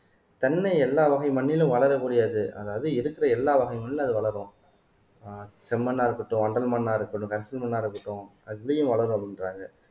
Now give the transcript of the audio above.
தென்னை எல்லா வகை மண்ணிலும் வளரக்கூடியது அதாவது இருக்கிற எல்லா வகை மண்ணிலும் அது வளரும் ஆஹ் செம்மண்ணா இருக்கட்டும் வண்டல் மண்ணா இருக்கட்டும் கரிசல் மண்ணா இருக்கட்டும் அதுலயும் வளரும் அப்படின்றாங்க